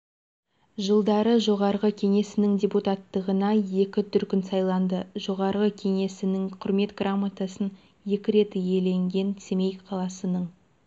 жылдары жоғарғы кеңесінің депутаттығына екі дүркін сайланды жоғарғы кеңесінің құрмет грамотасын екі рет иеленген семей қаласының